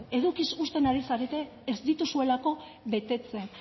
edukiz husten ari zarete ez dituzuelako betetzen